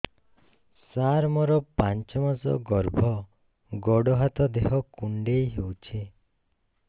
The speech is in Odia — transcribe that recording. ସାର ମୋର ପାଞ୍ଚ ମାସ ଗର୍ଭ ଗୋଡ ହାତ ଦେହ କୁଣ୍ଡେଇ ହେଉଛି